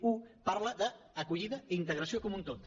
un parla d’acollida i integració com un tot